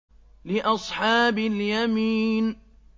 لِّأَصْحَابِ الْيَمِينِ